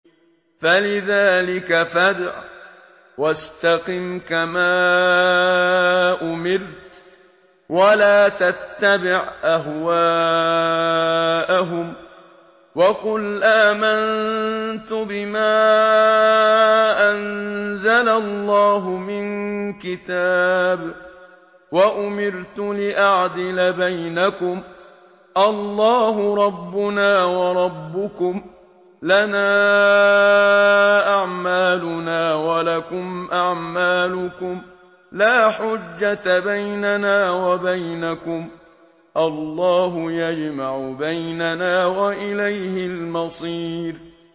فَلِذَٰلِكَ فَادْعُ ۖ وَاسْتَقِمْ كَمَا أُمِرْتَ ۖ وَلَا تَتَّبِعْ أَهْوَاءَهُمْ ۖ وَقُلْ آمَنتُ بِمَا أَنزَلَ اللَّهُ مِن كِتَابٍ ۖ وَأُمِرْتُ لِأَعْدِلَ بَيْنَكُمُ ۖ اللَّهُ رَبُّنَا وَرَبُّكُمْ ۖ لَنَا أَعْمَالُنَا وَلَكُمْ أَعْمَالُكُمْ ۖ لَا حُجَّةَ بَيْنَنَا وَبَيْنَكُمُ ۖ اللَّهُ يَجْمَعُ بَيْنَنَا ۖ وَإِلَيْهِ الْمَصِيرُ